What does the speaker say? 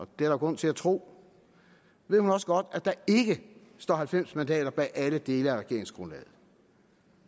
der grund til at tro ved hun også godt at der ikke står halvfems mandater bag alle dele af regeringsgrundlaget